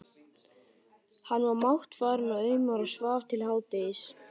Hann var máttfarinn og aumur og svaf til hádegis.